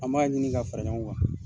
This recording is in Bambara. An b'a ɲini ka fara ɲɔgɔn kan.